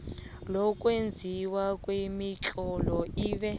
lokwenziwa kwemitlolo ibe